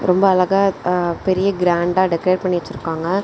ரொம்ப அழகா அ பெரிய கிராண்டா ரெக்கார்ட் பண்ணி வச்சிருக்காங்க.